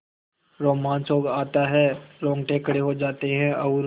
रोमांच हो आता है रोंगटे खड़े हो जाते हैं और